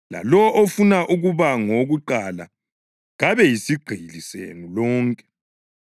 lalowo ofuna ukuba ngowokuqala kabe yisigqili senu lonke.